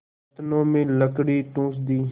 नथनों में लकड़ी ठूँस दी